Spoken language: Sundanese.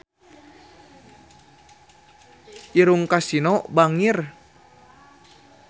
Irungna Kasino bangir